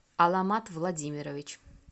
аламат владимирович